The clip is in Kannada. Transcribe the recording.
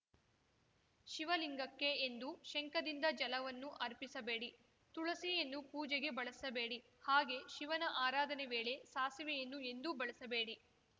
ಶಿವಲಿಂಗಕ್ಕೆ ಎಂದೂ ಶಂಖದಿಂದ ಜಲವನ್ನು ಅರ್ಪಿಸಬೇಡಿ ತುಳಸಿಯನ್ನೂ ಪೂಜೆಗೆ ಬಳಸಬೇಡಿ ಹಾಗೆ ಶಿವನ ಆರಾಧನೆ ವೇಳೆ ಸಾಸಿವೆಯನ್ನು ಎಂದೂ ಬಳಸಬೇಡಿ